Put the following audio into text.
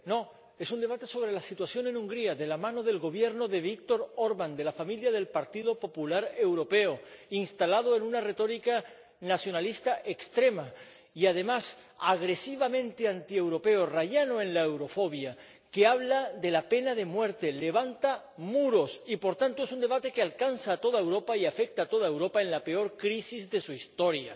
Señor Presidente, ¿qué es esto? ¿Un debate sobre Hungría? No. Es un debate sobre la situación en Hungría de la mano del Gobierno de Viktor Orbán —de la familia del Partido Popular Europeo—, instalado en una retórica nacionalista extrema y, además, agresivamente antieuropeo —rayano en la eurofobia—, que habla de la pena de muerte, levanta muros. Y, por tanto, es un debate que alcanza a toda Europa y afecta a toda Europa en la peor crisis de su historia.